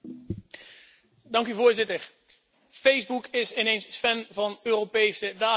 Voorzitter, Facebook is ineens fan van Europese gegevensbeschermingsregels.